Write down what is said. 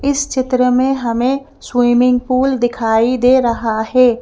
इस चित्र में हमें स्विमिंग पूल दिखाई दे रहा है।